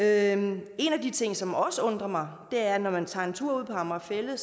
anden ting som også undrer mig er at når man tager en tur ud på amager fælled